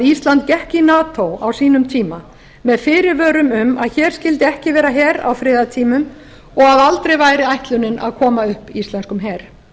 gekk í nato á sínum tíma með fyrirvörum um að hér skyldi ekki vera her á friðartímum og að aldrei væri ætlunin að koma upp íslenskum her